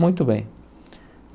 Muito bem.